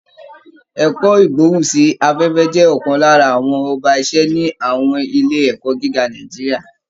Ẹ̀kọ́ Ìgbóhùn sí afẹ́fẹ́ jẹ́ ọ̀kan lára àwọn ọba iṣẹ́ ni àwọn ilé ẹ̀kọ́ gíga Nàìjíríà